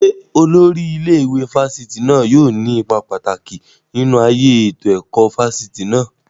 Ṣé olórí ilé ìwé fáfitì náà yóò ní ipa pàtàkì nínú ayé ètò ẹ̀kọ́ fáfitì náà?